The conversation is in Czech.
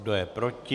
Kdo je proti?